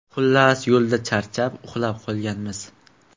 Xullas, yo‘lda charchab uxlab qolganmiz.